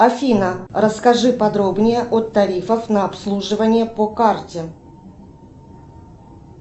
афина расскажи подробнее о тарифах на обслуживание по карте